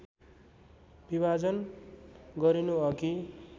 विभाजन गरिनु अघि